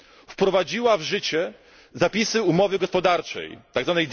z Ukrainą wprowadziła w życie zapisy umowy gospodarczej,